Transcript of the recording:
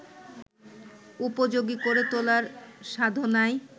উপযোগী করে তোলার সাধনায়